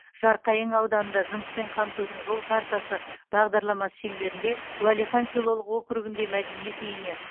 жарқайың ауданында жұмыспен қамтудың жол картасы бағдарламасы шеңберінде уәлихан селолық окургіндегі мәдениет үйіне